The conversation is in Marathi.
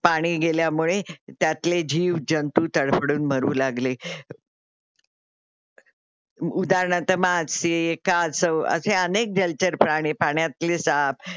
पाणी गेल्यामुळे त्यातले जीव जंतू तडफडून मरू लागले. उदाहरणार्थ मासे, कासव, असे अनेक जलचर प्राणी पाणातले साप